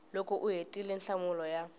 loko u hetile nhlamulo ya